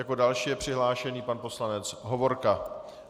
Jako další je přihlášený pan poslanec Hovorka.